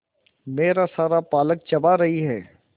मेरा सारा पालक चबा रही है